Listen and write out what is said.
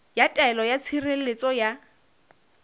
ya taelo ya tshireletso ya